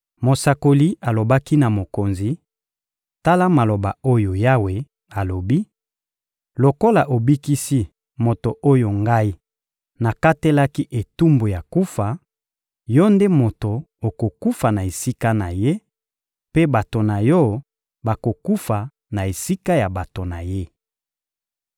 Mosakoli alobaki na mokonzi: — Tala maloba oyo Yawe alobi: «Lokola obikisi moto oyo Ngai nakatelaki etumbu ya kufa, yo nde moto okokufa na esika na ye; mpe bato na yo bakokufa na esika ya bato na ye.»